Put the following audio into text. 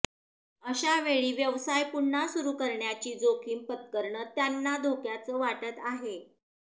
अशा वेळी व्यवसाय पुन्हा सुरु करण्याची जोखीम पत्करणं त्यांना धोक्याचं वाटत आहे